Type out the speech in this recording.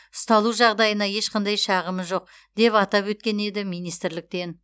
ұсталу жағдайына ешқандай шағымы жоқ деп атап өткен еді министрліктен